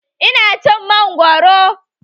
Ina cin mangoro.